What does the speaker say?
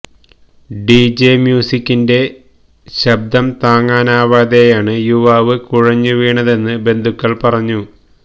D J മ്യൂസിക്കിന്റെ ശബ്ദം താങ്ങാനാവാതെയാണ് യുവാവ് കുഴഞ്ഞുവീണതെന്ന് ബന്ധുക്കള് പറഞ്ഞു